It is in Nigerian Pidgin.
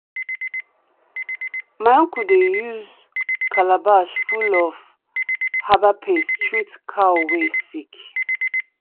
my uncle dey use calabash full of herbal paste treat cow wey sick.